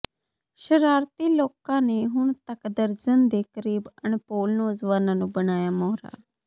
ਸਰਾਰਤੀ ਲੋਕਾਂ ਨੇ ਹੁਣ ਤੱਕ ਦਰਜਨ ਦੇ ਕਰੀਬ ਅਣਭੋਲ ਨੌਜਵਾਨਾਂ ਨੂੰ ਬਣਾਇਆ ਮੋਹਰਾ